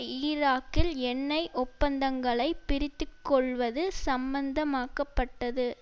ஈராக்கில் எண்ணெய் ஒப்பந்தங்களை பிரித்துக்கொள்வது சம்மந்தமாக்கப்பட்டது